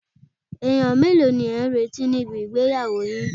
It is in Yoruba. Èèyàn mélòó ni ẹ̀ ń retí níbi ìgbéyàwó yin